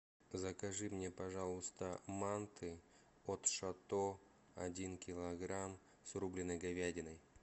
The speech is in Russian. закажи мне пожалуйста манты от шато один килограмм с рубленой говядиной